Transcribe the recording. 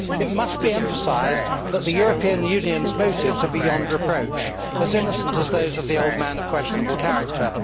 It must be emphasised that the European Union's motives are beyond reproach, as innocent as those of the old man of questionable character.